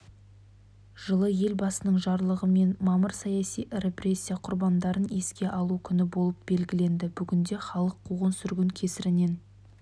жылы елбасының жарлығымен мамыр саяси репрессия құрбандарын еске алу күні болып белгіленді бүгінде халық қуғын-сүргін кесірінен